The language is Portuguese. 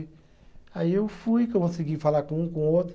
Aí eu fui, consegui falar com um, com outro.